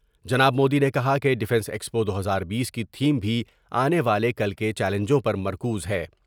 جناب مودی نے کہا کہ ڈفینس ایکسپو دو ہزار بیس کی تھیم بھی آنے والے کل کے چیلینجوں پر مرکوز ہے ۔